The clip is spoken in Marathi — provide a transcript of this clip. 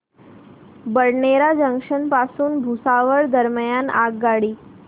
बडनेरा जंक्शन पासून भुसावळ दरम्यान आगगाडी